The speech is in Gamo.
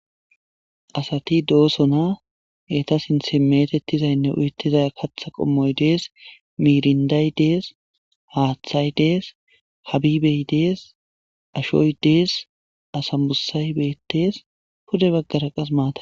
Asati dosona eta sintan metetizaynne uyetizay katha qomoyi des mirnday des hatay des habibey des ashoy des asambusay betes pude bagara qasi matay.